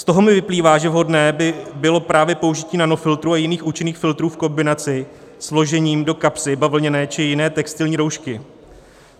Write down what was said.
Z toho mi vyplývá, že vhodné by bylo právě použití nanofiltru a jiných účinných filtrů v kombinaci s vložením do kapsy bavlněné či jiné textilní roušky.